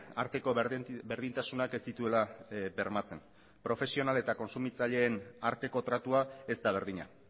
arteko berdintasunak ez dituela bermatzen profesional eta kontsumitzaileen arteko tratua ez da berdina